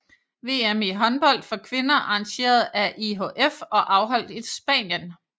VM i håndbold for kvinder arrangeret af IHF og afholdt i Spanien